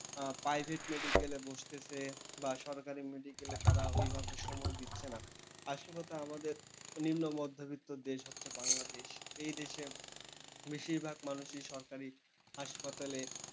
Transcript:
private medical এ বসতেছে বা সরকারি medical এ তারা ঐভাবে সময় দিচ্ছে না। আসলে তা আমাদের নিম্নমধ্যবিত্ত দেশ হচ্ছে বাংলাদেশ, এই দেশে বেশিরভাগ মানুষই সরকারি হাসপাতালে,